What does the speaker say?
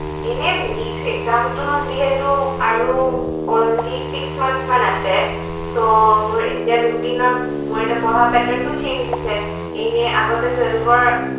এনেই NEETexam টো যিহেতু আৰু only six month মান আছে so মোৰ এতিয়া routine ৰ মোৰ এতিয়া পঢ়া pattern টোও change হৈছে এনেই আগতে twelve ৰ